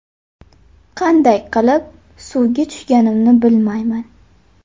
Qanday qilib suvga tushganimni bilmayman.